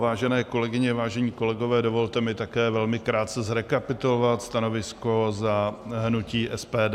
Vážené kolegyně, vážení kolegové, dovolte mi také velmi krátce zrekapitulovat stanovisko za hnutí SPD.